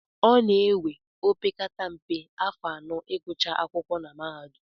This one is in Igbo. Ọ na-ewe opekata mpe, afọ anọ ịgụcha akwụkwọ na mahadum